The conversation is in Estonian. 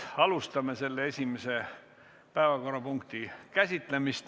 Alustame esimese päevakorrapunkti käsitlemist.